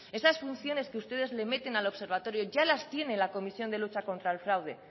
esas funciones que ustedes le meten al observatorio ya las tiene la comisión de lucha contra el fraude